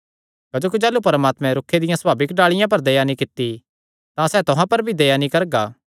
क्जोकि जाह़लू परमात्मैं रूखे दियां सभाविक डाल़िआं पर दया नीं कित्ती तां सैह़ तुहां पर भी दया नीं करगा